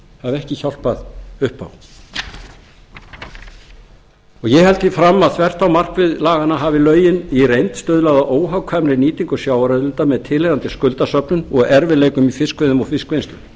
hafa ekki hjálpað upp á ég held því fram að þvert á markmið laganna hafi lögin í reynd stuðlað að óhagkvæmri nýtingu sjávarauðlinda með tilheyrandi skuldasöfnun og erfiðleikum í fiskveiðum og fiskvinnslu